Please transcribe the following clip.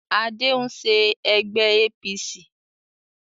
Adé ń ṣe ẹgbẹ́ APC